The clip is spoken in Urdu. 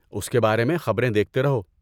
اس کے بارے میں خبریں دیکھتے رہو۔